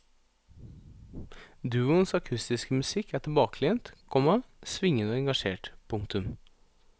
Duoens akustiske musikk er tilbakelent, komma svingende og engasjert. punktum